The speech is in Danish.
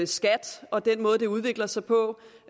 skat og den måde det udvikler sig på